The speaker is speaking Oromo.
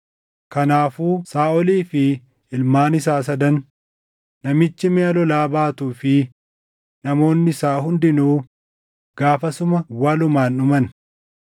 Kanaafuu Saaʼolii fi ilmaan isaa sadan, namichi miʼa lolaa baatuu fi namoonni isaa hundinuu gaafasuma walumaan dhuman.